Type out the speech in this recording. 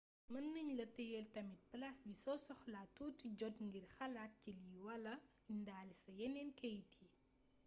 meunagnala teyel tamit plase bi so soxla touti jot ngir xalat ci lii wala indalé sa yenen keit yii